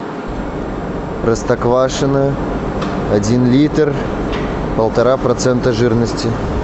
простоквашино один литр полтора процента жирности